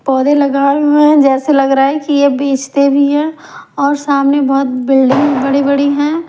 पौधे लगाए हुए हैं जैसे लग रहा है कि यह बेचते भी हैं और सामने बहुत बिल्डिंग बड़ी बड़ी हैं।